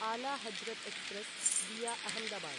आला Hazrat express via Ahmedabad